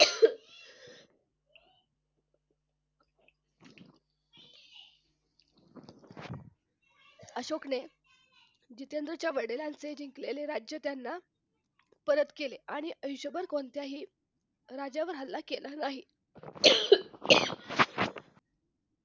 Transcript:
अशोकने जितेंद्रच्या वडिलांचे जिंकलेले राज्य त्यांना परत केले आणि आयुष्यभर कोणत्याही राज्यावर हल्ला केला नाही